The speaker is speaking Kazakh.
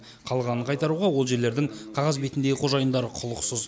қалғанын қайтаруға ол жерлердің қағаз бетіндегі қожайындары құлықсыз